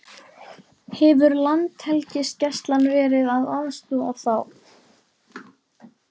Hefur Landhelgisgæslan verið að aðstoða þá?